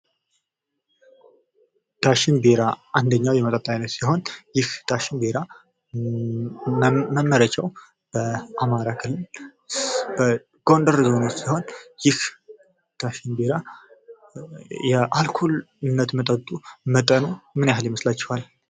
ዳሽን ቢራ ኘንደኛው የመጠጥ አይነት ሲሆን ይህ ዳሽን ቢራ መመረቻው አማራ ክልል በጎንደር ሲሆን ይህ ዳሽን ቢራ የአልኮል መጠኑ ምን ያህል ይመስላችኋል?